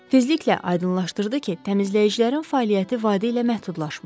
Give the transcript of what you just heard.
Tezliklə aydınlaşdırdı ki, təmizləyicilərin fəaliyyəti vadi ilə məhdudlaşmır.